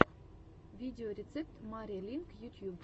видеорецепт мари линк ютьюб